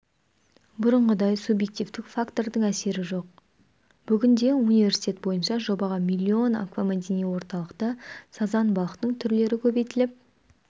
бұрынғыдай субъективтік фактордың әсері жоқ бүгінде университет бойынша жобаға млн аквамәдени орталықта сазан балықтың түрлері көбейтіліп